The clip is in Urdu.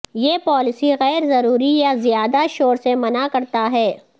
یہ پالیسی غیر ضروری یا زیادہ شور سے منع کرتا ہے